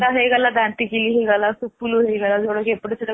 ହେଇଗଲା ଦାନ୍ତୀକିଲି ହେଇଗଲା ସୁପୁଲୁ ହେଇଗଲା ଯୋଉଟା କି ଏପଟେ